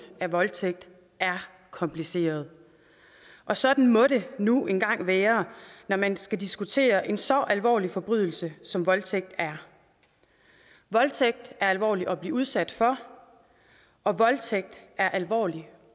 af voldtægt er kompliceret og sådan må det nu engang være når man skal diskutere en så alvorlig forbrydelse som voldtægt er voldtægt er alvorligt at blive udsat for og voldtægt er alvorligt